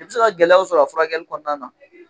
E be se ka gɛlɛyaw sɔrɔ a furakɛli kɔnɔana na